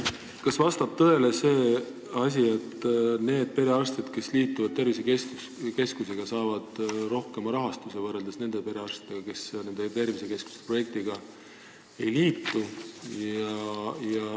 Kas vastab tõele, et need perearstid, kes liituvad tervisekeskusega, saavad rohkem raha kui need, kes projektiga ei liitu?